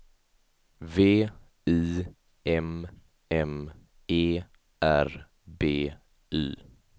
V I M M E R B Y